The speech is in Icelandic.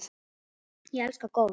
Ég elska golf.